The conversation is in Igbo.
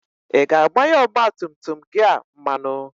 Ị ga-agbanye ọgba tum tum gị a mmanụ?